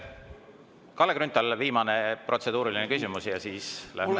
Kalle Grünthal, viimane protseduuriline küsimus ja siis lähme …